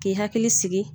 K'i hakili sigi